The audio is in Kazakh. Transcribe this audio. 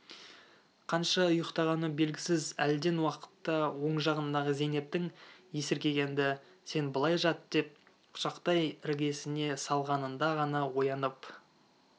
қанша ұйықтағаны белгісіз әлден уақытта оң жағындағы зейнептің есіркегенді сен былай жат деп құшақтай іргесіне салғанында ғана оянып